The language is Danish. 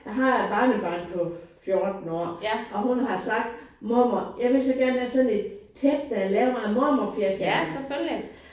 Jeg har et barnebarn på 14 år og hun har sagt mormor jeg vil så gerne have sådan et tæppe der er lavet af mormorfirkanter